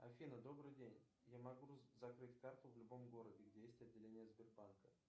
афина добрый день я могу закрыть карту в любом городе где есть отделение сбербанка